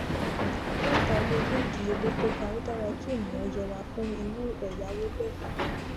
látàrí owó ìdíyelé to ga ó dára kí ènìyàn yẹra fún irú ẹyáwó bẹẹ